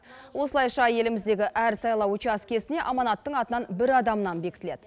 осылайша еліміздегі әр сайлау учаскесіне аманаттың атынан бір адамнан бекітіледі